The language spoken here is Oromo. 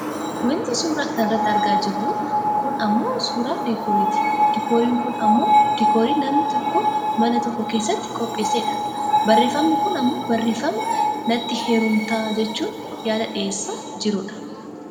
Wanti suuraa kanarratti argaa jirru kun ammoo suuraa diikooriiti diikooriin kun ammoo diikoorii namni tokko mana tokko keessatti qopheessee dha. Barreeffamni kun ammoo barreeffama natti heerumtaa jechuun yaada dhiyeessaa jirudha.